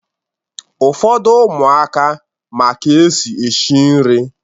Ụfọdụ ụmụaka ma ka-esi eshi nri